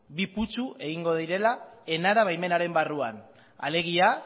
bi putzu egingo direla enara baimenaren barruan alegia